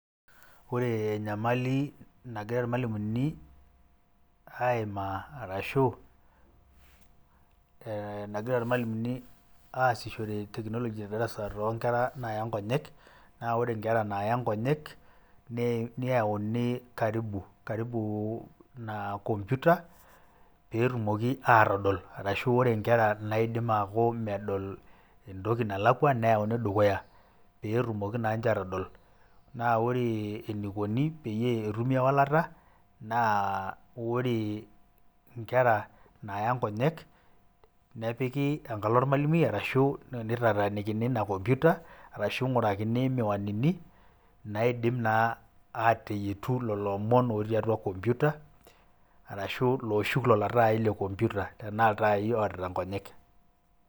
Ore enyamali nagira ilmalimuni aimaa arashu ee nagira ilmalimuni aasishore  teknoloji te darasa toonkera naaya nkonyek naa ore nkera naaya nkonyek neyauni  karibu,  karibuu naa  kompyuta peetumoki aatodol arashu ore nkera naaidim aaku medol entoki nalakua neyauni dukuya peetumoki naa ninche atodol. Naa ore eneikuni peyie etumi ewalata naa ore nkera naaya nkonyek nepiki enkalo olmalimui arashu neitatanikini ina kompyuta arashu ing'urakini [vs]miwanini naidim naa aateyetu loloomon otii atua kompyuta arashu looshuk lolo [taai le kompyuta tenaa iltaai oarita nkonyek.